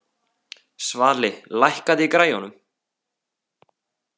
Svali, lækkaðu í græjunum.